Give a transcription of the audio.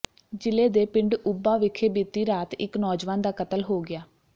ਜ਼ਿਲ੍ਹੇ ਦੇ ਪਿੰਡ ਉੱਭਾ ਵਿਖੇ ਬੀਤੀ ਰਾਤ ਇੱਕ ਨੌਜਵਾਨ ਦਾ ਕਤਲ ਹੋ ਗਿਆ